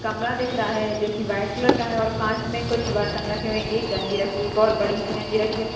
कमरा दिख रहा है जो कि वाइट कलर का है और कांच में कुछ बर्तन रखे हुए एक गंजी रखी है एक और बड़ी सी गंजी रखी है।